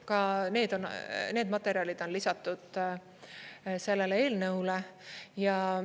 Ka need materjalid on lisatud sellele eelnõule.